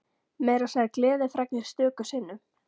Meira að segja gleðifregnir stöku sinnum.